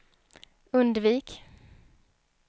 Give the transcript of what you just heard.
undvik